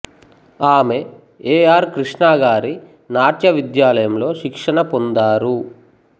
ఆమె A R Krishna గారి నాట్య విద్యాలయంలో శిక్షణ పొందారు